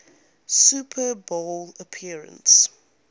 super bowl appearance